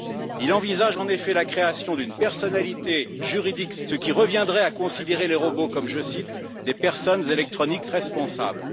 Il envisage, en effet, la création d'une personnalité juridique spécifique aux robots, ce qui reviendrait à considérer les robots comme je cite des personnes électroniques responsables.